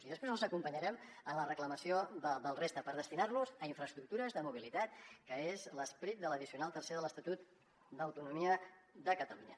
i després els acompanyarem en la reclamació de la resta per destinar los a infraestructures de mobilitat que és l’esperit de l’addicional tercera de l’estatut d’autonomia de catalunya